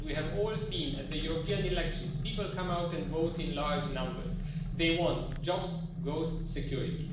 We have all seen at the European elections that people come out and vote in large numbers. They want jobs, growth and security.